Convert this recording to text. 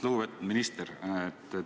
Lugupeetud minister!